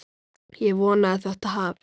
Ég vona að þetta hafist.